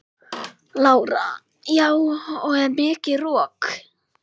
Lára: Já og er mikið rok?